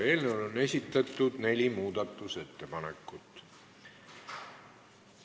Eelnõu kohta on esitatud neli muudatusettepanekut.